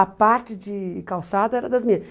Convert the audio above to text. A parte de calçada era das meninas.